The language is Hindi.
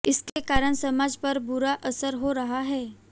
इसके कारण समाज पर बुरा असर हो रहा है